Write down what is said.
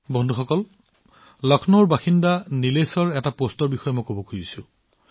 বন্ধুসকল মই লক্ষ্ণৌৰ নিলেশজীৰ এটা পোষ্টৰ কথাও উল্লেখ কৰিব বিচাৰো